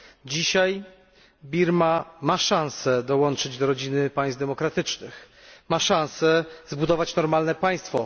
Dzisiaj Birma ma szansę dołączyć do rodziny państw demokratycznych, ma szansę zbudować normalne państwo.